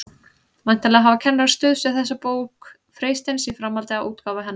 Væntanlega hafa kennarar stuðst við þessa bók Freysteins í framhaldi af útgáfu hennar.